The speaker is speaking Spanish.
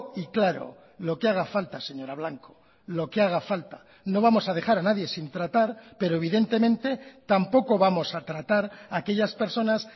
y claro lo que haga falta señora blanco lo que haga falta no vamos a dejar a nadie sin tratar pero evidentemente tampoco vamos a tratar aquellas personas